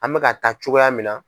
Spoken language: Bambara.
An bɛka taa cogoya min na.